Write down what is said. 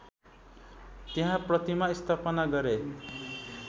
त्यहाँ प्रतिमा स्थापना गरे